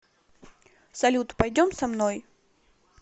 салют пойдем со мной